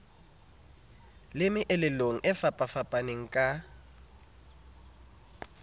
le meelelong e fapafapaneng ka